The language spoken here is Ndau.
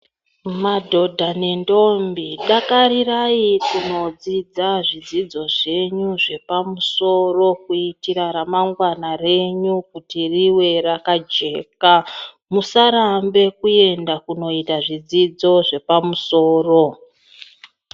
Madhodha nentombi dakarirai kunodzidza zvidzidzo zvenyu zvepamusoro kuitira ramangwana renyu kuti rive rakajeka musarambe kuenda kunoita zvidzidzo zvepamusoro.